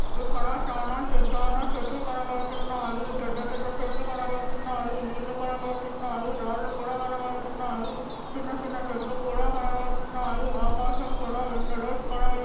ఇక్కడ చానా చె-చానా చెట్లు కనబడుతున్నాయి పెద్ద పెద్ద చెట్లు కనబడుతున్నాయి నీళ్లు కనబడుతున్నాయి రాళ్ళూ కూడా కనబడుతున్నాయి చిన్న చిన్న చెట్లు కూడా కనబడుతున్నాయి ఆకాశం కూడా ఎండలో కనబ--